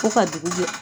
Ko ka dugu jɛ